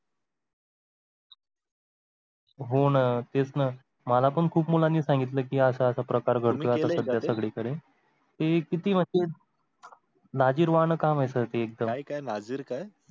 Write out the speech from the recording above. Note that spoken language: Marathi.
हो ना. तेच ना मला पण खूप मुलांनी सांगितला कि असा असा प्रकार घडतो आता सगळीकडे. तुम्ही केलय का ते? ते हि किती म्हणजे लाजिरवाणं काम sir एक्दम. काय लाजिर? काय?